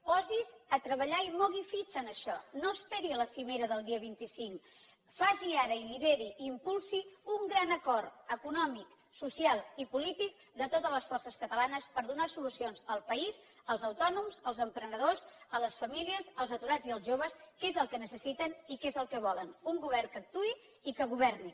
posi’s a treballar i mogui fitxa en això no esperi la cimera del dia vint cinc faci ara i lideri i impulsi un gran acord econòmic social i polític de totes les forces catalanes per donar solucions al país als autònoms als emprenedors les famílies els aturats i els joves que és el que necessiten i que és el que volen un govern que actuï i que governi